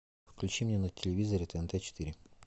включи мне на телевизоре тнт четыре